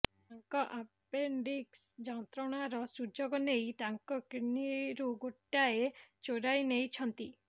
ତାଙ୍କ ଆପେଣ୍ଡିକ୍ସ୍ ଯନ୍ତ୍ରଣାର ସୁଯୋଗ ନେଇ ତାଙ୍କ କିଡ୍ନିରୁ ଗୋଟାଏ ଚୋରାଇ ନେଇଛନ୍ତି